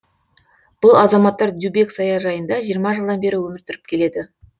бұл азаматтар дюбек саяжайында жиырма жылдан бері өмір сүріп келеді